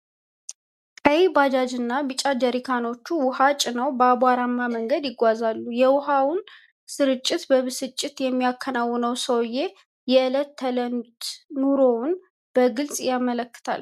ቀይ ባጃጅና ቢጫ ጀሪካኖች ውሃ ጭነው በአቧራማ መንገድ ይጓጉዛሉ። የውሃውን ስርጭት በብስጭት የሚያከናውነው ሰውዬው፣ የዕለት ተዕለት ኑሮ ትግሉን በግልጽ ያመለከታል ።